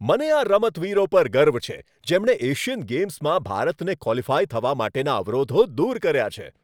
મને આ રમતવીરો પર ગર્વ છે જેમણે એશિયન ગેમ્સમાં ભારતને ક્વોલિફાય થવા માટેના અવરોધો દૂર કર્યા છે.